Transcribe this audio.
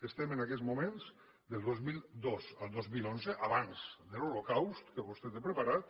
estem en aquests moments del dos mil dos al dos mil onze abans de l’holocaust que vostè té preparat